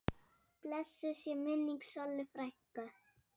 Blessuð sé minning Sollu frænku.